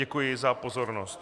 Děkuji za pozornost.